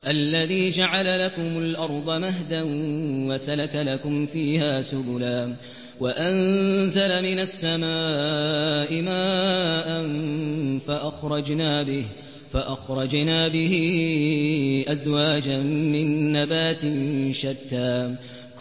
الَّذِي جَعَلَ لَكُمُ الْأَرْضَ مَهْدًا وَسَلَكَ لَكُمْ فِيهَا سُبُلًا وَأَنزَلَ مِنَ السَّمَاءِ مَاءً فَأَخْرَجْنَا بِهِ أَزْوَاجًا مِّن نَّبَاتٍ شَتَّىٰ